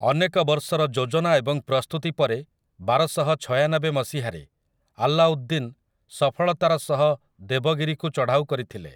ଅନେକ ବର୍ଷର ଯୋଜନା ଏବଂ ପ୍ରସ୍ତୁତି ପରେ ବାରଶହଛୟାନବେ ମସିହାରେ ଆଲ୍ଲାଉଦ୍ଦିନ୍ ସଫଳତାର ସହ ଦେବଗିରିକୁ ଚଢାଉ କରିଥିଲେ ।